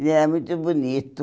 Ele era muito bonito.